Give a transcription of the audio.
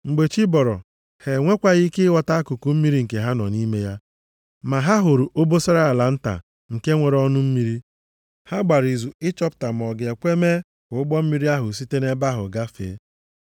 Mgbe chi bọrọ, ha enwekwaghị ike ịghọta akụkụ mmiri nke ha nọ nʼime ya. Ma ha hụrụ obosara ala nta nke nwere ọnụ mmiri. Ha gbara izu ịchọpụta ma ọ ga-ekwe mee ka ụgbọ mmiri ahụ site nʼebe ahụ gafee.